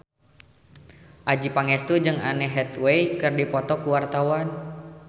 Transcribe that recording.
Adjie Pangestu jeung Anne Hathaway keur dipoto ku wartawan